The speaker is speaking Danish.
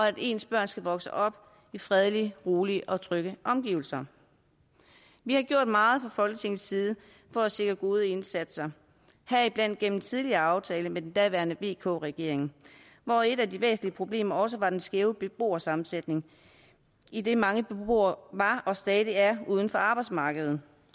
at ens børn skal vokse op i fredelige rolige og trygge omgivelser vi har gjort meget fra folketingets side for at sikre gode indsatser heriblandt gennem en tidligere aftale med den daværende vk regering hvor et af de væsentlige problemer også var den skæve beboersammensætning idet mange beboere var og stadig er uden for arbejdsmarkedet